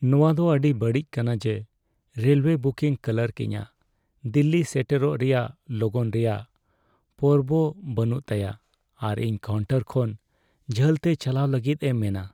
ᱱᱚᱣᱟ ᱫᱚ ᱟᱹᱰᱤ ᱵᱟᱹᱲᱤᱡ ᱠᱟᱱᱟ ᱡᱮ ᱨᱮᱞᱳᱭᱮ ᱵᱤᱠᱤᱝ ᱠᱟᱨᱠ ᱤᱧᱟᱹᱜ ᱫᱤᱞᱞᱤ ᱥᱮᱴᱮᱨᱚᱜ ᱨᱮᱭᱟᱜ ᱞᱚᱜᱚᱱ ᱨᱮᱭᱟᱜ ᱯᱚᱨᱵᱟ ᱵᱟᱹᱱᱩᱜ ᱛᱟᱭᱟ ᱟᱨ ᱤᱧ ᱠᱟᱣᱩᱱᱴᱟᱨ ᱠᱷᱚᱱ ᱡᱷᱟᱹᱞᱛᱮ ᱪᱟᱞᱟᱣ ᱞᱟᱹᱜᱤᱫ ᱮ ᱢᱮᱱᱟ ᱾